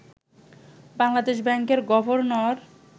বাংলাদেশ ব্যাংকের গভর্নর